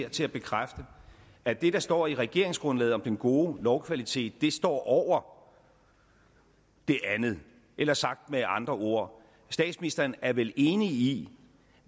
til at bekræfte at det der står i regeringsgrundlaget om den gode lovkvalitet står over det andet eller sagt med andre ord statsministeren er vel enig i